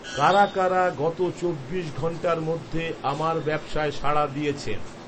কারা কারা গত চব্বিশ ঘণ্টার মধ্যে আমার ব্যবসায় সাড়া দিয়েছেন